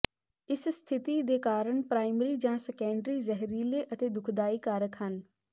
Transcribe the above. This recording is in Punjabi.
ਇਸ ਸਥਿਤੀ ਦੇ ਕਾਰਨ ਪ੍ਰਾਇਮਰੀ ਜਾਂ ਸੈਕੰਡਰੀ ਜ਼ਹਿਰੀਲੇ ਅਤੇ ਦੁਖਦਾਈ ਕਾਰਕ ਹਨ